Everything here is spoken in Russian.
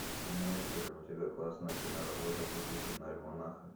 имеется ли у тебя классная киноработа в духе киноальманаха